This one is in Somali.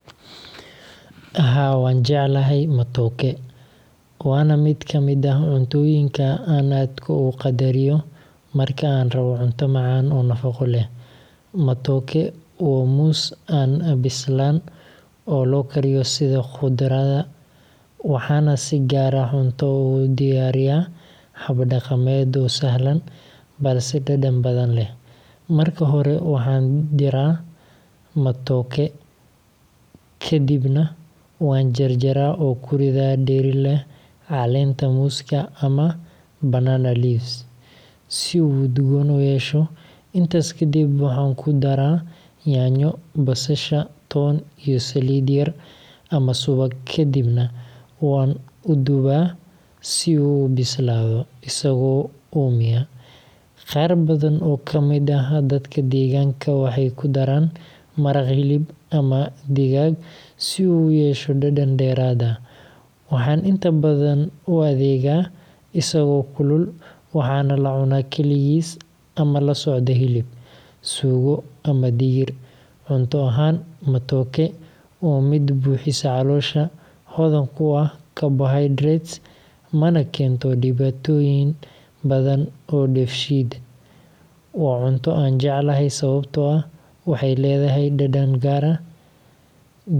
Haa, waan jeclahay matooke, waana mid ka mid ah cuntooyinka aan aadka u qadariyo marka aan rabo cunto macaan oo nafaqo leh. Matooke waa muus aan bislaan oo loo kariyo sida khudradda, waxaana si gaar ah cunto ugu diyaariyaa hab dhaqameed oo sahlan balse dhadhan badan leh. Marka hore waxaan diiraa matooke-ga, ka dibna waan jarjaraa oo ku riddaa dheri leh caleenta muuska ama banana leaves si uu udgoon u yeesho. Intaas kadib, waxaan ku darraa yaanyo, basasha, toon, iyo saliid yar ama subag, kadibna waan u duubaa si uu u bislaado isagoo uumiya. Qaar badan oo ka mid ah dadka deegaanka waxay ku daraan maraq hilib ama digaag si uu u yeesho dhadhan dheeraad ah. Waxaan inta badan u adeegaa isagoo kulul, waxaana la cunaa kaligiis ama la socda hilib, suugo, ama digir. Cunto ahaan, matooke waa mid buuxisa caloosha, hodan ku ah carbohydrates, mana keento dhibaatooyin badan oo dheefshiid. Waa cunto aan jeclahay sababtoo ah waxay leedahay dhadhan gaar ah, diyaarineedkeeduna.